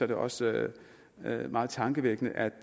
det også meget meget tankevækkende at